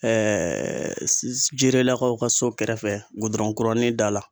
jirelakaw ka so kɛrɛfɛ da la.